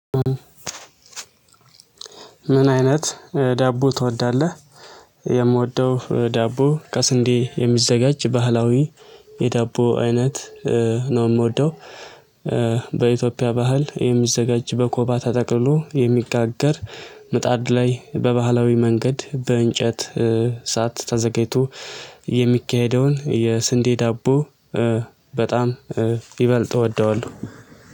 ምን አይነት ዳቦ ትወዳለህ? የምወደው ዳቦ ከስንዴ የሚዘጋጅ ባህላዊ የዳቦ አይነት ነው የምወደው በኢትዮጵያ ባህል የሚዘጋጅ በኮባ ተጠቅሎ የሚጋገር ምጣድ ላይ በባህላዊ መንገድ በእንጨት ሳት ተዘጋጅቶ የሚካሄደውን የስንዴ ዳቦ በጣም ይበልጥ እወደዋለሁ